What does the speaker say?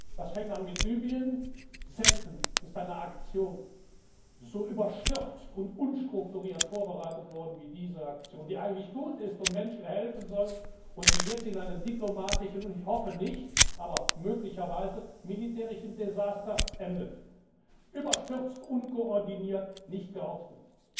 Es fängt an mit Libyen Selten ist eine Aktion so überstürzt und unstrukturiert vorbereitet worden wie diese Aktion, die eigentlich gut ist und Menschen helfen soll und die jetzt in einem diplomatischen und ich hoffe nicht, aber möglicherweise militärischen Desaster endet überstürzt, unkoordiniert, nicht geordnet.